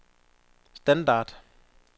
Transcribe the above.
standard